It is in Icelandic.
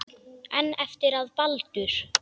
En eftir að Baldur.